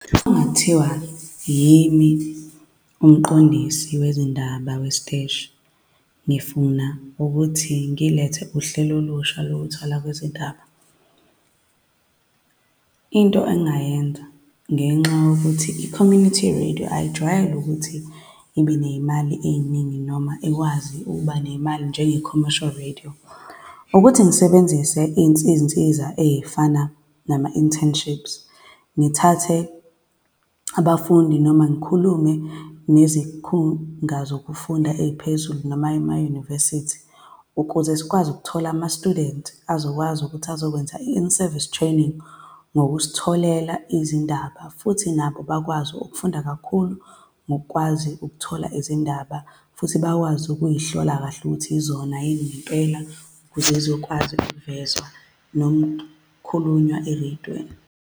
Uma kungathiwa yimi uMqondisi wezindaba wesiteshi, ngifuna ukuthi ngilethe uhlelo olusha lokwethulwa kwezindaba, into engingayenza, ngenxa yokuthi i-Community Radio ayijwayele ukuthi ibe ney'mali ey'ningi noma ikwazi ukuba nemali njenge-Cormmercial Radio, ukuthi ngisebenzise iy'nsiza ey'fana nama-internships. Ngithathe abafundi noma ngikhulume nezikhungo zokufunda eziphezulu, noma emayunivesithi, ukuze sikwazi ukuthola, ama-student azokwazi ukuthi azokwenza i-Inservice Training, ngokusitholela izindaba, futhi nabo bakwazi ukufunda kakhulu ngokukwazi ukuthola izindaba, futhi bakwazi ukuzihlolwa kahle ukuthi zona yini ngempela ukuze zizokwazi ukuvezwa nokukhulunywa ereydweni.